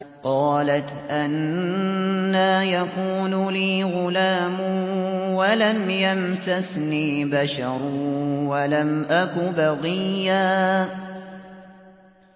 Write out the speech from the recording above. قَالَتْ أَنَّىٰ يَكُونُ لِي غُلَامٌ وَلَمْ يَمْسَسْنِي بَشَرٌ وَلَمْ أَكُ بَغِيًّا